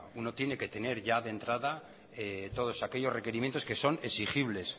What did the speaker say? uno tiene que tener ya de entrada todos aquellos requerimientos que son exigibles